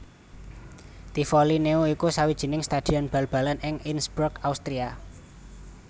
Tivoli Neu iku sawijining stadion bal balan ing Innsbruck Austria